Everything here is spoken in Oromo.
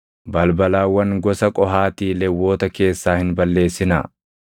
“Balbalawwan gosa Qohaatii Lewwota keessaa hin balleessinaa.